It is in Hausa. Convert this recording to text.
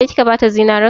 Ke kika bata zinarin?